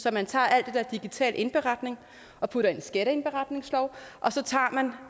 at man tager alt det der digital indberetning og putter i en skatteindberetningslov og så tager man